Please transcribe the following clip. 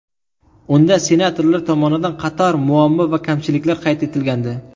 Unda senatorlar tomonidan qator muammo va kamchiliklar qayd etilgandi.